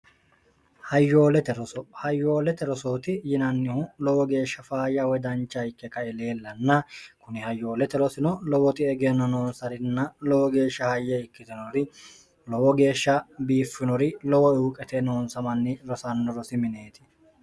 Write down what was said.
hayyoolete rosooti yinannihu lowo geeshsha faayya wydancha ikke kaileellanna kuni hayyoolete rosino lowoti egenno noonsarinna lowo geeshsha hayye ikkitinori lowo geeshsha biiffinori lowo ihu qete noonsamanni rosanno rosi mineeti